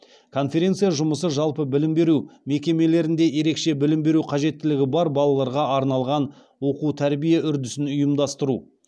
конференция жұмысы жалпы білім беру мекемелерінде ерекше білім беру қажеттілігі бар балаларға арналған оқу тәрбие үрдісін ұйымдастыру